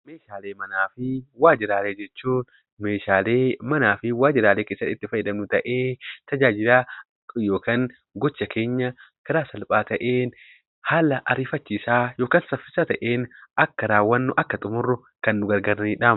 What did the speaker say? Meeshaalee manaa fi waajiraalee jechuun Meeshaalee manaa fi waajiraalee keessatti itti fayyadamnu ta'ee tajaajila yookaan gocha keenya karaa salphaa ta'een haala ariifachiisaa yookaan saffisaa ta'een akka raawwannu, akka xummurru kan nu gargaaranidha.